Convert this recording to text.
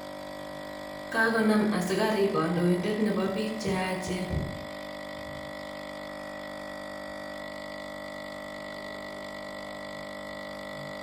Kagonam askarik kandoindet nepo piik cheyachen